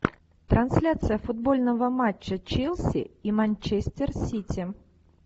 трансляция футбольного матча челси и манчестер сити